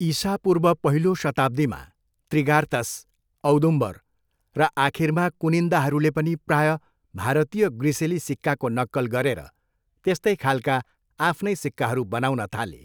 इसापूर्व पहिलो शताब्दीमा, त्रिगार्तस, औदुम्बर र आखिरमा कुनिन्दाहरूले पनि प्रायः भारतीय ग्रिसेली सिक्काको नक्कल गरेर त्यस्तै खालका आफ्नै सिक्काहरू बनाउन थाले।